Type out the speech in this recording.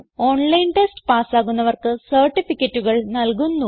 online test പാസ്സാകുന്നവർക്ക് സർട്ടിഫികറ്റുകൾ നല്കുന്നു